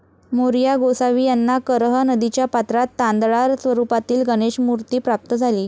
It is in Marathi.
मोरया गोसावी यांना करह नदीच्या पात्रात तांदळा स्वरुपातील गणेश मूर्ती प्राप्त झाली.